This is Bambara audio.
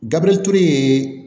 Gabirituru ye